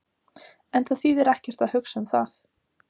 En það þýðir ekkert að hugsa um það.